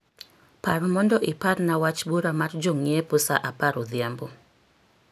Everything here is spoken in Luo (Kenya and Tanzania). Par mondo iparna wach bura mar jong'iepo saa apar odhiambo